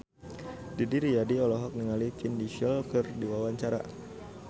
Didi Riyadi olohok ningali Vin Diesel keur diwawancara